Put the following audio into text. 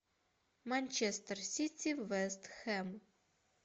манчестер сити вест хэм